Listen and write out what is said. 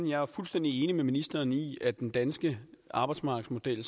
jeg er fuldstændig enig med ministeren i at den danske arbejdsmarkedsmodel